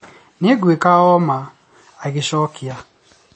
"Nĩngwĩka ũma" agĩcokia